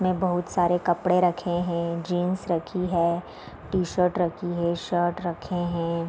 में बहुत सारे कपड़े रखें हैं जींस रखी है टी-शर्ट रखी है शर्ट रखे हैं |